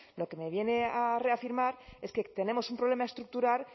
lo que me viene a reafirmar es que tenemos un problema estructural